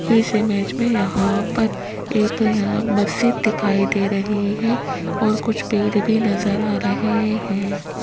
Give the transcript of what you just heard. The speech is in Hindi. इस इमेज में यहां पर ये तो यहां मस्जिद दिखाई दे रही है और कुछ पेड़ भी नज़र आ रहे हैं।